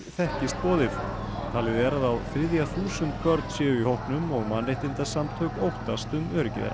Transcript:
þekkist boðið talið er að á þriðja þúsund börn séu í hópnum og mannréttindasamtök óttast um öryggi þeirra